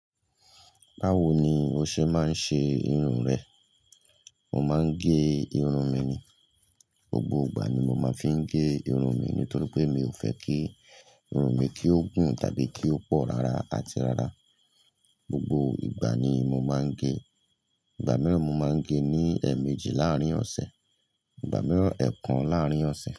Báwo ni o ṣe máa ń ṣe irun rẹ? Mo máa ń gé irun mi ni, gbogbo ìgbà ni mo máa ń fi ń gé irun mi nítorí pé mi ò fẹ́ kí irun mi kí ó gùn tàbí kí ó pọ̀ rara ati rara. Gbogbo ìgbà ni mo máa ń gé, ìgbà mìíràn mo máa ń gé ní ẹ̀ẹ̀mejì láàárín ọ̀sẹ̀, ìgbà mìíràn ẹ̀ẹ̀kan láàárín ọ̀sẹ̀